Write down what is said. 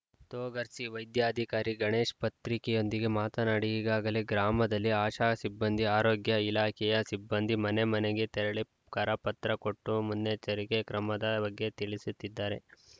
ತೊಗರ್ಸಿಯ ವೈದ್ಯಾಧಿಕಾರಿ ಗಣೇಶ್‌ ಪತ್ರಿಕೆಯೊಂದಿಗೆ ಮಾತನಾಡಿ ಈಗಾಗಲೇ ಗ್ರಾಮದಲ್ಲಿ ಆಶಾ ಸಿಬ್ಬಂದಿ ಆರೋಗ್ಯ ಇಳಾಖೆಯ ಸಿಬ್ಬಂದಿ ಮನೆಮನೆಗೆ ತೆರಳಿ ಕರಪತ್ರ ಕೊಟ್ಟು ಮುನ್ನೆಚ್ಚರಿಕೆ ಕ್ರಮದ ಬಗ್ಗೆ ತಿಳಿಸಿತ್ತಿದ್ದಾರೆ